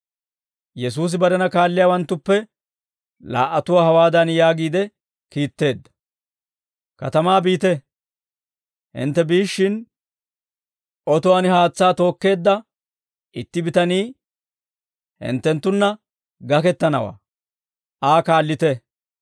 Yesuusi barena kaalliyaawanttuppe laa"atuwaa hawaadan yaagiide kiitteedda; «Katamaa biite; hintte biishshin, otuwaan haatsaa tookkeedda itti bitanii hinttenttunna gakettanawaa; Aa kaallite.